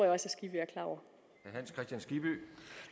herre hans kristian skibby